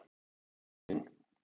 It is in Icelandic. Ósk mín.